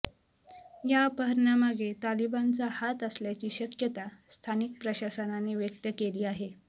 या अपहरणामागे तालिबानचा हात असल्याची शक्यता स्थानिक प्रशासनाने व्यक्त केली आहे